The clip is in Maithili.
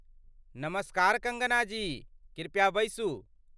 नमस्कार कङ्गना जी, कृपया बैसू।